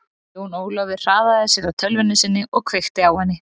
Jón Ólafur hraðaði sér að tölvunni sinni og kveikti á henni.